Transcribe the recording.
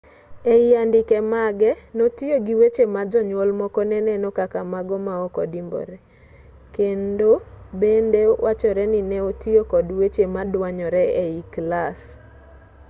ei andiko mage notiyo gi weche ma jonyuol moko ne neno kaka mago ma ok odimbore kendo bende wachore ni ne otiyo kod weche moduanyore ei klas